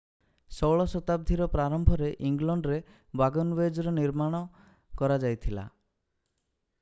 16 ଶତାବ୍ଦୀର ପ୍ରାରମ୍ଭରେ ଇଂଲଣ୍ଡରେ ୱାଗନୱେଜ୍ ର ନିର୍ମାଣ କରାଯାଇଥିଲା